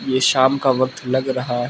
ये शाम का वक्त लग रहा है।